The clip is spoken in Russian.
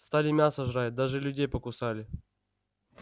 стали мясо жрать даже людей покусали